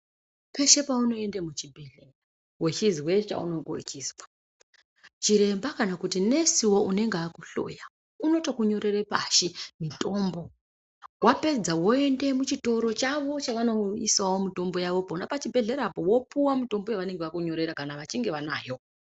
Peshe paunoende muchibhedhleya wechizwe chaunenge uchizwa chiremba kana kuti nesiwo anenge akuhloya anotokunyorere pashi mitombo. Wapedza woende muchitoro chavo chavanoisawo mitombo yavo pona pachibhedhlerapo, wopuwa mutombo yavanenge vakunyorera kana vachinge vanayo.